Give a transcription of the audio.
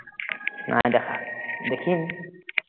নাই দেখা, দেখিম